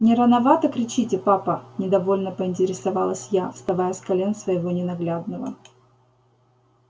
не рановато кричите папа недовольно поинтересовалась я вставая с колен своего ненаглядного